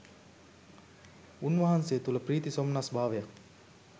උන්වහන්සේ තුළ ප්‍රීති සොම්නස් භාවයක්